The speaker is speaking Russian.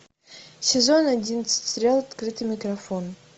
сезон одиннадцать сериал открытый микрофон